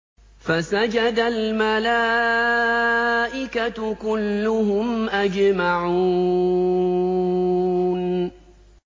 فَسَجَدَ الْمَلَائِكَةُ كُلُّهُمْ أَجْمَعُونَ